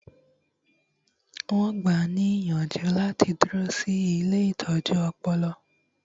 Wọn gbáà ní ìyànjú láti dúró sí ilée ìtọ́jú ọpọlọ